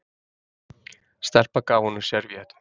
Stelpa gaf honum servíettu.